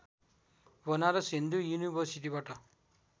Banaras Hindu युनिवर्सिटीबाट